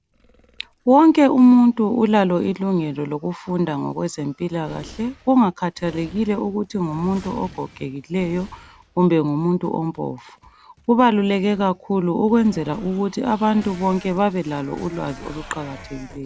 Wonke umuntu ulalo ilungelo lokufunda ngokwezempilakahle. Kungakhathalekile ukuthi ngumuntu ogogekileyo, kumbe ngumuntu ompofu. Kubaluleke kakhulu ukwenzela ukuthi abantu bonke babelalo ulwazi oluqakathekileyo.